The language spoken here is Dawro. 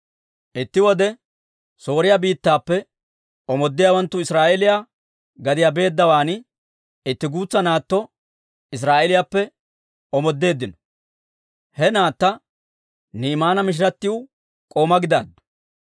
Itti wode Sooriyaa biittappe omoodiyaawanttu Israa'eeliyaa gadiyaa beeddawaan, itti guutsa naatto Israa'eeliyaappe omoodeeddino. He naatta Ni'imaana mishiratiw k'oomaa gidaaddu.